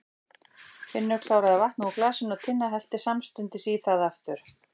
Finnur kláraði vatnið úr glasinu og Tinna hellti samstundis í það aftur.